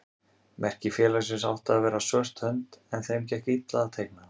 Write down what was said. Merki félagsins átti að vera svört hönd en þeim gekk illa að teikna hana.